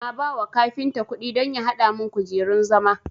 Na bawa kafinta kudi don ya hada mun kujerun zama